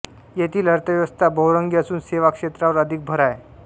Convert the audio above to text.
येथील अर्थव्यवस्था बहुरंगी असून सेवा क्षेत्रावर अधिक भर आहे